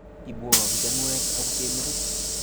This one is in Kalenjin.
Ibwo kichanuet akute metit.